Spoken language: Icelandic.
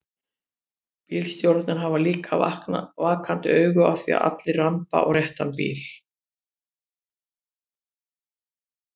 Bílstjórarnir hafa líka vakandi auga á því að allir rambi á réttan bíl.